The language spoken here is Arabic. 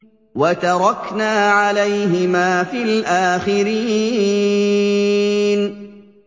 وَتَرَكْنَا عَلَيْهِمَا فِي الْآخِرِينَ